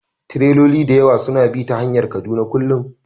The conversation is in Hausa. Tireloli da yawa suna bi ta hanyar Kaduna kullum